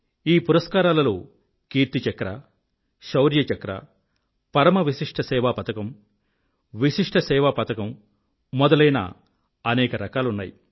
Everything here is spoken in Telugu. ఈ పురస్కారాలలో కీర్తి చక్ర శౌర్య చక్ర పరమ విశిష్ఠ సేవా పతకం విశిష్ఠ సేవా పతకం మొదలైన అనేక రకాలున్నాయి